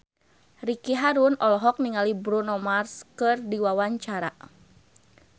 Ricky Harun olohok ningali Bruno Mars keur diwawancara